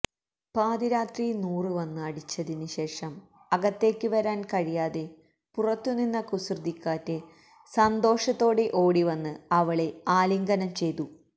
പാതിരാത്രി നൂറ് വന്ന് അടച്ചതിന് ശേഷം അകത്തേക്ക് വരാൻ കഴിയാതെ പുറത്തുനിന്ന കുസൃതികാറ്റ് സന്തോഷത്തോടെ ഓടിവന്ന് അവളെ ആലിംഗനം ചെയ്തു